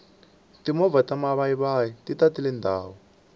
timovha ta mavayivayi ti tatile ndhawu